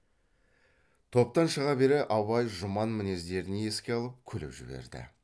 топтан шыға бере абай жұман мінездерін еске алып күліп жіберді